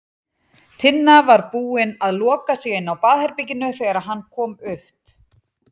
Tinna var búin að loka sig inni á baðherberginu þegar hann kom upp.